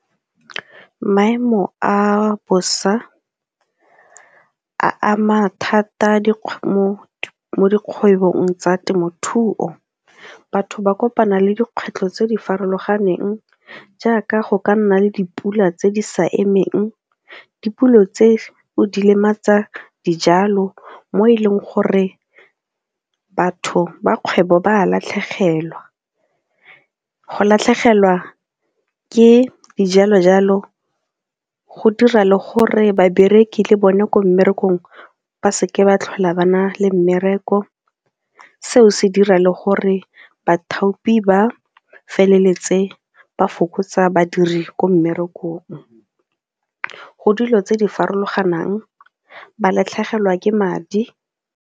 Maemo a bosa a ama thata mo dikgwebong tsa temothuo. Batho ba kopana le dikgwetlho tse di farologaneng jaaka go ka nna le dipula tse di sa emeng, dipula tseo di lematsa dijalo mo e leng gore batho ba kgwebo ba a latlhegelwa. Go latlhegelwa ke dijalo-jalo go dira le gore babereki le bone ko mmerekong ba seke ba tlhola ba na le mmereko seo se dira le gore bathapi ba feleletse ba fokotsa badiri ko mmerekong, go dilo tse di farologanang, ba latlhegelwa ke madi.